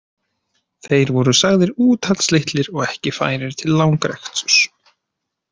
Þeir voru sagðir úthaldslitlir og ekki færir til langreksturs.